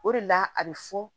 O de la a bɛ fɔ